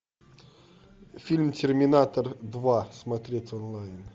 фильм терминатор два смотреть онлайн